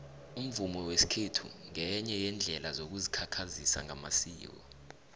umvumo wesikhethu ngenye yeendlela yokuzikhakhazisa ngamasiko